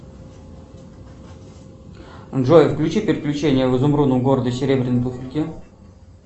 джой включи приключения в изумрудном городе серебряной туфельки